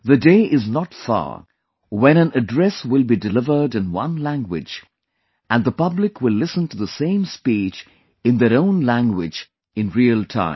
The day is not far when an address will be delivered in one language and the public will listen to the same speech in their own language in real time